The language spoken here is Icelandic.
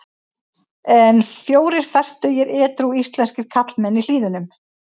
En fjórir fertugir edrú íslenskir karlmenn í Hlíðunum.